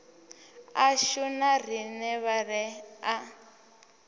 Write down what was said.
ashu na riṋe vhaḓe a